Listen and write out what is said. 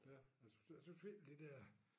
Ja og så og selvfølgelig de dér